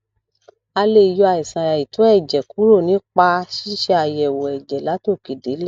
a lè yọ àìsàn àìtó èjè kúrò nípa ṣíṣe àyèwò èjè látòkè délè